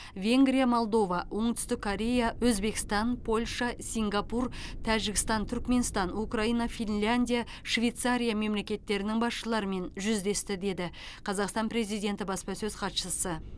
венгрия молдова оңтүстік корея өзбекстан польша сингапур тәжістан түрікменстан украина финляндия швейцария мемлекеттерінің басшылармен жүздесті деді қазақстан президенті баспасөз хатшысы